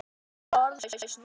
Ég er bara orðlaus núna.